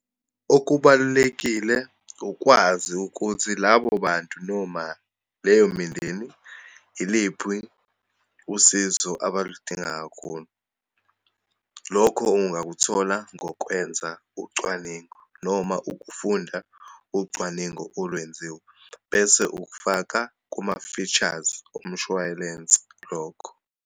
Okubalulekile, ukwazi ukuthi labo bantu noma leyo mindeni iliphi usizo abaludinga kakhulu. Lokho ungakuthola ngokwenza ucwaningo, noma ukufunda ucwaningo olwenziwe, bese ukufaka kuma-features omshwalense lokho.